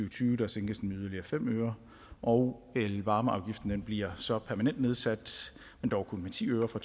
og tyve sænkes den yderligere med fem øre og elvarmeafgiften bliver så permanent nedsat men dog kun med ti øre fra